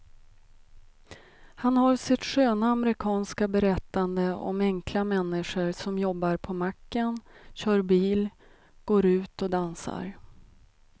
Han har sitt sköna amerikanska berättande om enkla människor som jobbar på macken, kör bil och går ut och dansar.